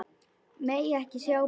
Megi ekki sjá barnið.